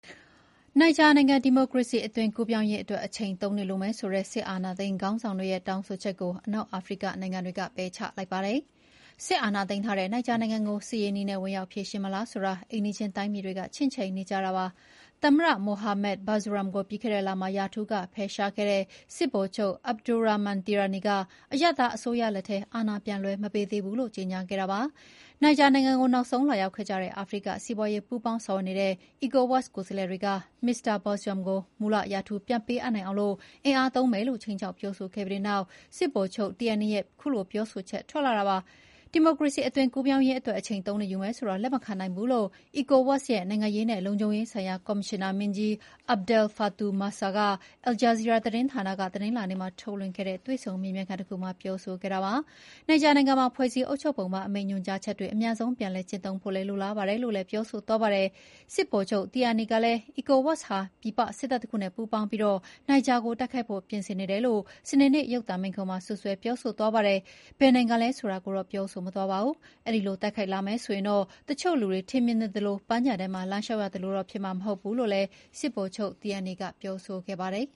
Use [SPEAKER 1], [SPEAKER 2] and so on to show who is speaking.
[SPEAKER 1] နိုင်ဂျာနိုင်ငံ ဒီမိုကေရစီအသွင်ကူးပြောင်းရေးအတွက် အချိန် ၃ နှစ်လိုမယ်ဆိုတဲ့ အာဏာသိမ်းစစ်ခေါင်းဆောင်တွေရဲ့ တောင်းဆိုချက်ကို အနောက်အာဖရိကနိုင်ငံတွေက ပယ်ချလိုက်ပါတယ်။ စစ်အာဏာသိမ်းထားတဲ့နိုင်ဂျာနိုင်ငံကို စစ်ရေးနည်းနဲ့ ဝင်ရောက်ဖြေရှင်းမလားဆိုတာ အိမ်နီးချင်းတိုင်းပြည်တွေက ချင့်ချိန်နေကြတာပါ။ သမ္မတ Mohamed Bazoum ကို ပြီးခဲ့တဲ့လမှာ ရာထူးကဖယ်ရှားခဲ့တဲ့ စစ်ဗိုလ်ချုပ် Abdourahamane Tiani က အရပ်သားအစိုးရလက်ထဲ အာဏာပြန်လွှဲမပေးသေးဘူးလို့ ကြေညာခဲ့ပါတယ်။ နိုင်ဂျာနိုင်ငံကို နောက်ဆုံးလာရောက်ခဲ့ကြတဲ့ အာဖရိက စီးပွါးရေးပူးပေါင်းဆောင်ရွက်နေတဲ့ ECOWAS ကိုယ်စားလှယ်တွေက မစ္စတာ Baxoum ကို မူလရာထူးပြန်ပေးအပ်နိုင်အောင် အင်အားသုံးမယ်လို့ ခြိမ်းခြောက်ပြောဆိုခဲ့ပြီးတဲ့နောက် စစ်ဗိုလ်ချုပ် Tiani ရဲ့ ခုလို ပြောဆိုချက်ထွက်လာတာဖြစ်ပါတယ်။ ဒီမိုကရေစီအသွင်ကူးပြောင်းရေးအတွက် အချိန် ၃ နှစ်ယူမယ်ဆိုတာ လက်မခံနိုင်ဘူးလို့ ECOWAS ရဲ့ နိုင်ငံရေးနဲ့ လုံခြုံရေးဆိုင်ရာ ကော်မရှင်နာမင်းကြီး Abdel-Fatau Musah က Al Jazeera သတင်းဌာနက တနင်္လာနေ့မှာ ထုတ်လွှင့်ခဲ့တဲ့ တွေ့ဆုံမေးမြန်းခန်းတခုမှာ ပြောဆိုခဲ့ပါတယ်။ နိုင်ဂျာနိုင်ငံမှာ ဖွဲ့စည်းအုပ်ချုပ်ပုံပါ အမိန့်ညွှန်ကြားချက်တွေ အမြန်ဆုံး ပြန်လည်ကျင့်သုံးဖို့ လိုလားပါတယ်လို့လည်း ပြောဆိုသွားပါတယ်။ စစ်ဗိုလ်ချုပ် Tiani ကလည်း ECOWAS ဟာ ပြည်ပစစ်တပ်တခုနဲ့ ပူးပေါင်းပြီး နိုင်ဂျာကို တိုက်ခိုက်ဖို့ပြင်ဆင်နေတယ်လို့ စနေနေ့ ရုပ်သံမိန့်ခွန်းမှာ စွပ်စွဲပြောဆိုသွားပါတယ်။ ဘယ်နိုင်ငံလဲ ဆိုတာကိုတော့ ပြောဆိုမသွားပါဘူး။ အဲဒီလိုတိုက်ခိုက်လာမယ်ဆိုရင်တော့ တချို့လူတွေ ထင်မြင်နေသလို ပန်းခြံထဲမှာ လမ်းလျှောက်ရသလိုတော့ ဖြစ်မှာမဟုတ်ဘူးလို့လည်း စစ်ဗိုလ်ချုပ် Tiani ကပြောဆိုခဲ့ပါတယ်